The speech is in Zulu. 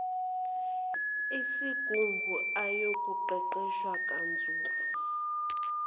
esigungu ayoqeqeshwa kanzulu